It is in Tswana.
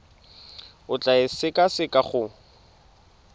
o tla e sekaseka go